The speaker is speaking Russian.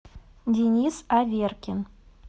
денис аверкин